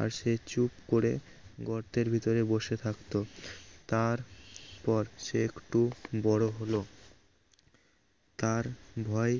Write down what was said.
আর সে চুপ করে গর্তের ভেতরে বসে থাকতো তার পর সে একটু বড় হল তার ভয়